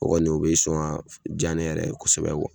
O kɔni o be sɔn ja ne yɛrɛ ye kosɛbɛ kuwa